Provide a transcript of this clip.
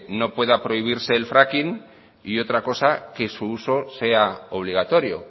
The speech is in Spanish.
no pueda prohibirse el fracking y otra cosa que su uso sea obligatorio